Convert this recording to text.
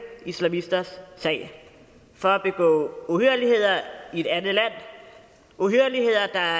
islamisters sag for at begå uhyrligheder i et andet land uhyrligheder der